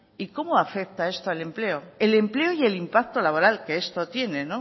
y cómo afecta esto al empleo el empleo y el impacto laboral que esto tiene